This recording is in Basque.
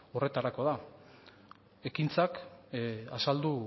horretarako da ekintzak azaldu